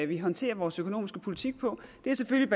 vi håndterer vores økonomiske politik på det er selvfølgelig